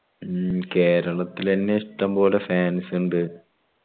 മ്മ് കേരളത്തിലെന്നെ ഇഷ്ടമ്പോലെ fans ഉണ്ട്